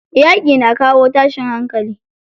Yaƙi na kawo tashin hankali.